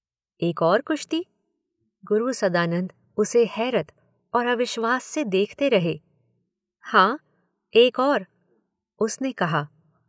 एक और कुश्ती? गुरु सदानंद उसे हैरत और अविश्वास से देखते रहे। हाँ, एक और। उसने कहा।